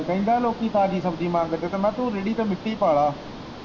ਕਹਿੰਦਾ ਲੋਂਕੀ ਤਾਜ਼ੀ ਸ਼ਬਜੀ ਮੰਗਦੇ ਮੈਂ ਕਿਹਾ ਤੂੰ ਰੇੜੀ ਤੇ ਮਿੱਟੀ ਪਾ ਲੈ।